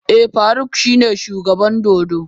Eh Faruk shine shugaban dodo.